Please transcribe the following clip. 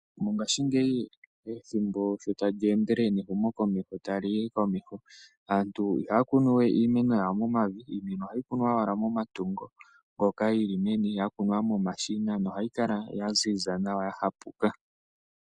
Mongashingeyi ethimbo shi tali endelele nehumokomeho tali yi komeho, aantu ihaya kunu we iimeno yawo momavi. Ohayi kunwa owala momatungo yi li meni ya kunwa momashina nohayi kala ya ziza nawa, ya hapuka.